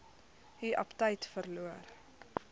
u aptyt verloor